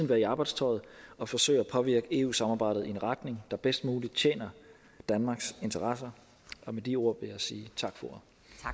være i arbejdstøjet og forsøge at påvirke eu samarbejdet i en retning der bedst muligt tjener danmarks interesser med de ord vil jeg sige tak for